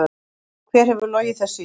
Hver hefur logið þessu í þig?